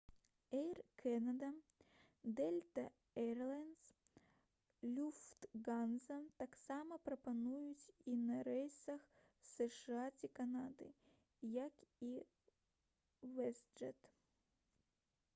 «эйр кэнада» «дэльта эйрлайнс» «люфтганза» таксама прапануюць іх на рэйсах з сша ці канады як і «вэстджэт»